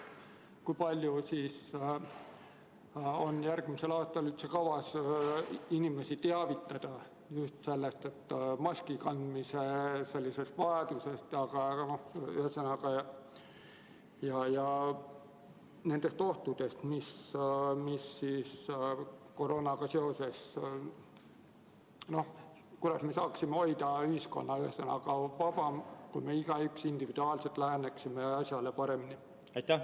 Kui palju on järgmisel aastal kavas inimesi teavitada just maski kandmise vajadusest ja nendest ohtudest, mis koroonaga seoses on, st kuidas me saaksime hoida ühiskonda, ühesõnaga, vabamana, kui me igaüks individuaalselt läheneksime asjale paremini?